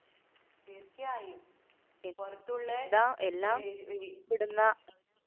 തീര്‍ച്ചയായും പുറത്തുള്ള